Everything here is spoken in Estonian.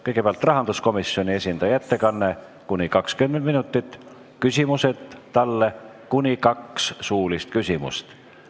Kõigepealt on rahanduskomisjoni esindaja ettekanne kuni 20 minutit, misjärel võib talle esitada kuni kaks suulist küsimust.